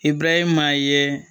I bura ye maa ye